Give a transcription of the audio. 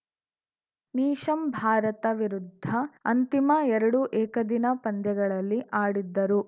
Neesham Bharat ವಿರುದ್ಧ ಅಂತಿಮ ಎರಡು ಏಕದಿನ ಪಂದ್ಯಗಳಲ್ಲಿ ಆಡಿದ್ದರು